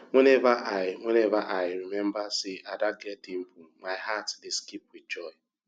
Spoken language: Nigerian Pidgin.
whenever i whenever i remember say ada get dimple my heart dey skip with joy